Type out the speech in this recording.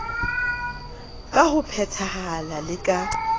ka ho phethahala le ka